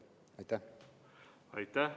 Aitäh!